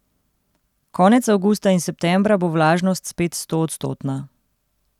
Konec avgusta in septembra bo vlažnost spet stoodstotna.